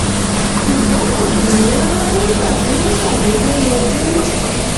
ṣùgbọ́n kò dùn mí rárá nígbà tí wọ́n ṣàdédé yọjú